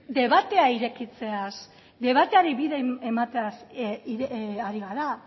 debatea irekitzeaz debateari bide emateaz ari gara